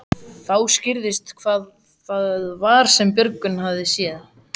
Þá skýrðist hvað það var sem Björgvin hafði séð.